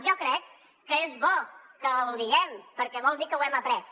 jo crec que és bo que ho diguem perquè vol dir que ho hem après